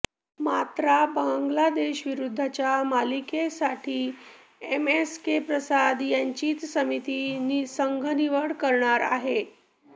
मात्रा बांगलादेशविरुद्धच्या मालिकेसाठी एमएसके प्रसाद यांचीच समिती संघनिवड करणार आहे